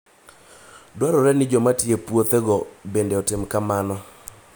Dwarore ni joma tiyo e puothego bende otim kamano.